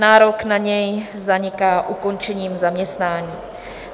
Nárok na něj zaniká ukončením zaměstnání.